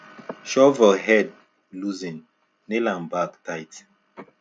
shovel head loosen nail am back tight